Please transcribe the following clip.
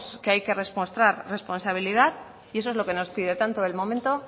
que hay que demostrar responsabilidad y eso es lo que nos pide tanto el momento